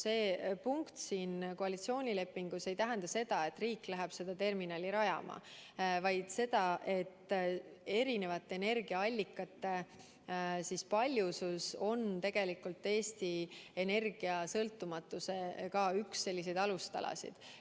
See punkt siin koalitsioonilepingus ei tähenda seda, et riik läheb seda terminali rajama, vaid seda, et erinevate energiaallikate paljusus on tegelikult üks Eesti Energia sõltumatuse alustalasid.